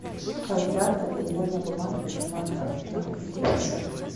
трансляция футбольного матча команд арсенал и челси